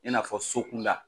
I n'a fɔ so kunda.